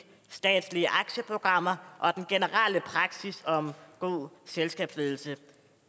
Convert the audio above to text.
statslige aktieprogrammer og den generelle praksis om god selskabsledelse